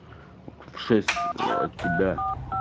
в шесть от тебя